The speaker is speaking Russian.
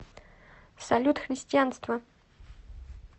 салют христианство